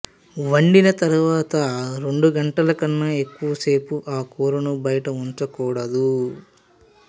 వండిన తర్వాత రెండు గంటలకన్నా ఎక్కువ సేపు ఆ కూరను బయట ఉంచకూడదు